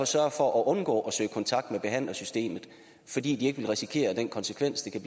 sørger for at undgå at søge kontakt med behandlersystemet fordi de ikke vil risikere den konsekvens der kan